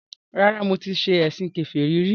Rárá, mi ò ṣe ẹ̀sìn kèfèrí rí